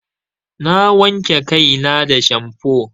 Na wanke kai na da shamfo.